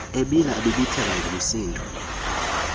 ebila ebibitheka ngumsindo